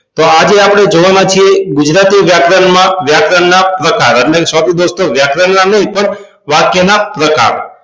તો આજે આપણે જોવાના છીએ ગુજરાતી વ્યાકરણમાં વ્યાકરણ ના પ્રકાર એટલે કે sorry દોસ્તો વ્યાકરણ નય વાક્ય ના પ્રકાર